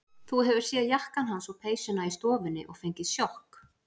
Þú hefur séð jakkann hans og peysuna í stofunni og fengið sjokk.